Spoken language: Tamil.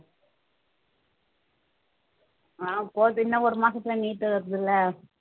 ஆஹ் போது இன்னும் ஒரு மாசத்துல NEET வருதுல்ல